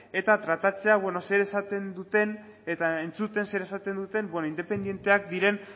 eta tratatzea zer esaten duten eta entzuten zer esaten duten independenteak diren